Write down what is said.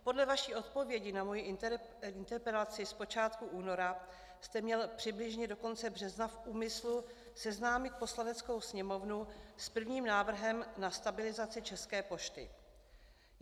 Podle vaší odpovědi na moji interpelaci z počátku února jste měl přibližně do konce března v úmyslu seznámit Poslaneckou sněmovnu s prvním návrhem na stabilizaci České pošty.